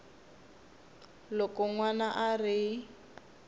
loko n wana a ri